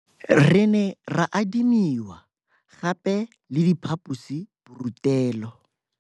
Re ne ra adimiwa gape le diphaposiborutelo.